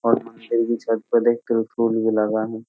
और मंदिर की छत पर देख त्रिशूल भी लगा है।